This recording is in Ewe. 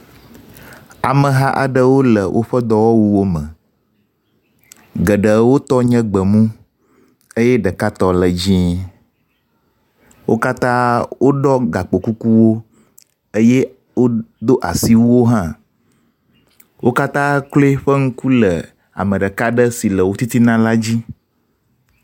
Ameha aɖewo le woƒe dɔwɔwuwo me. Geɖewo tɔ nye gbemu eye ɖeka tɔ le dzie. Wo katã woɖɔ gakpokukuwo eye wodo asiwuwo hã. Wo katã kloe ƒe ŋku le ame ɖeka aɖe si le wo ttina la di.